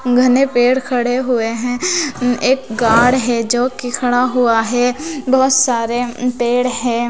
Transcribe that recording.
घने पेड़ खड़े हुए हैं उम एक गाढ़ है जोकि खड़ा हुआ है बहुत सारे उम पेड़ हैं।